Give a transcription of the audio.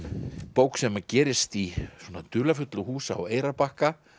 bók sem gerist í dularfullu húsi á Eyrarbakka